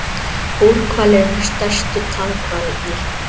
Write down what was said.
Búrhvalir eru stærstu tannhvalirnir.